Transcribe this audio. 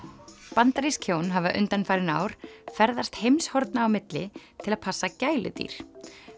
bandarísk hjón hafa undanfarin ár ferðast heimshorna á milli til að passa gæludýr